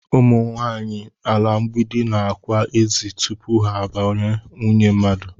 Ụ̣mụ̣ nwanyị ala mgbidi na-ákwà ezi tupu ha bụrụ nwunye mmadụ